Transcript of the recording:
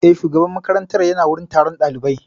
Eh, shugaban makaranta ya na wurin taron ɗaliban